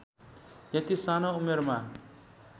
यति सानो उमेरमा